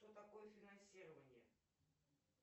что такое финансирование